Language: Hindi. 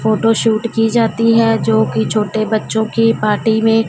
फोटो शूट की जाती हैं जो की छोटे बच्चों की पार्टी में।